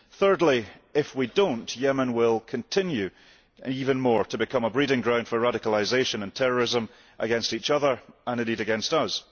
Thirdly, if we do not, Yemen will continue even more to become a breeding ground for radicalisation and terrorism against each other and indeed against us.